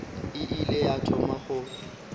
e ile ya thoma go